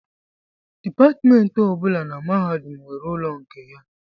Dipatmentị ọ bụla na mahadum nwere ụlọ nke ya